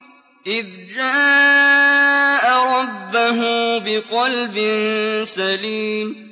إِذْ جَاءَ رَبَّهُ بِقَلْبٍ سَلِيمٍ